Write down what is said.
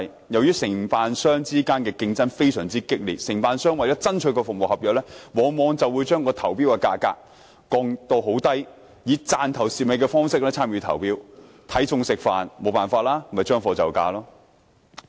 由於承辦商之間的競爭非常激烈，承辦商為了取得服務合約，往往將投標價格降至很低，以"賺頭蝕尾"的方式參與投標，"睇餸食飯"、將貨就價。